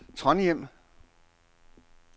Trondhjem